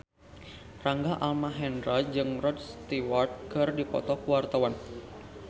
Rangga Almahendra jeung Rod Stewart keur dipoto ku wartawan